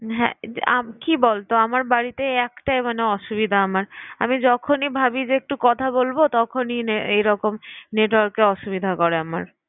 হ্যাঁ যে আম~ কি বলতো আমার বাড়িতে একটাই এই অসুবিধা আমার আমি যখনই ভাবি যে একটু কথা বলব তখনই নে~ এরকম network এর অসুবিধা করে আমার।